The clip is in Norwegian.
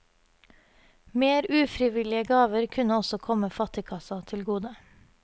Mer ufrivillige gaver kunne også komme fattigkassa til gode.